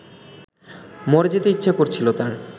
মরে যেতে ইচ্ছে করছিল তার